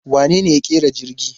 Wanene ya ƙera jirgi?